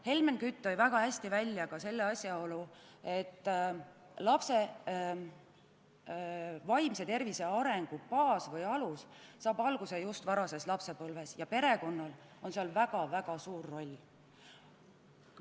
Helmen Kütt tõi väga hästi välja ka selle asjaolu, et lapse vaimse tervise arengule luuakse baas või alus just varases lapsepõlves ja perekonnal on selles väga-väga suur roll.